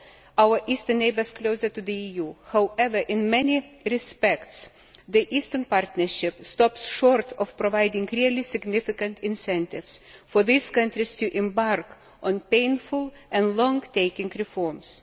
our eastern neighbours closer to the EU. However, in many respects, the Eastern Partnership stops short of providing really significant incentives for these countries to embark on painful and lengthy reforms.